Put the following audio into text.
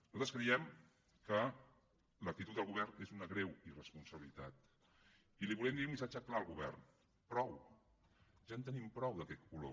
nosaltres creiem que l’actitud del govern és una greu irresponsabilitat i li volem dir un missatge clar al govern prou ja en tenim prou d’aquest color